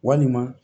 Walima